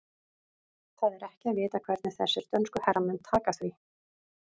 Það er ekki að vita hvernig þessir dönsku herramenn taka því.